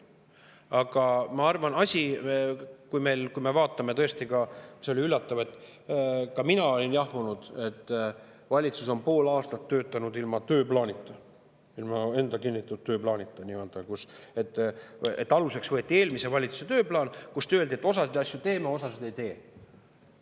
Aga ma arvan, et tõesti oli üllatav ka see, ka mina olin jahmunud, et valitsus on pool aastat töötanud ilma tööplaanita, ilma enda kinnitatud tööplaanita, aluseks võeti eelmise valitsuse tööplaan, kus öeldi, et osasid asju teeme, osasid ei tee.